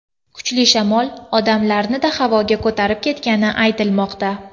Kuchli shamol odamlarni-da havoga ko‘tarib ketgani aytilmoqda.